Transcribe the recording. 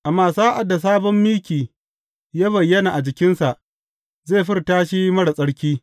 Amma sa’ad da sabon miki ya bayyana a jikinsa, zai furta shi marar tsarki.